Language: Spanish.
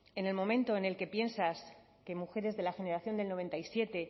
en el momento en el que piensas que mujeres de la generación del noventa y siete